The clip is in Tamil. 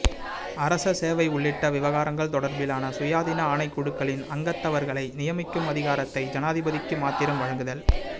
அரச சேவை உள்ளிட்ட விவகாரங்கள் தொடர்பிலான சுயாதீன ஆணைக்குழுக்களுக்களின் அங்கத்தவர்களை நியமிக்கும் அதிகாரத்தை ஜனாதிபதிக்கு மாத்திரம் வழங்குதல்